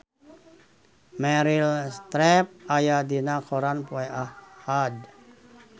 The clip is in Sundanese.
Meryl Streep aya dina koran poe Ahad